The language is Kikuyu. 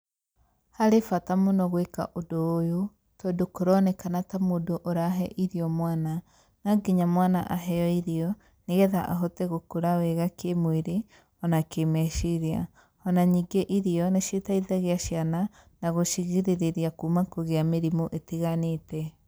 Harĩ bata mũno gwĩka ũndũ ũyũ, tondũ kũronekana ta mũndũ ũrahe irio mwana.No nginya mwana aheo irio, nĩgetha ahote gũkũra wega kĩ-mwĩrĩ, ona kĩ-meciria, ona ningĩ irio nĩciteithagia ciana na gũcigirĩrĩria kuuma kũgĩa mĩrimũ ĩtiganĩte.